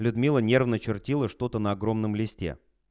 людмила нервно чертила что-то на огромном листе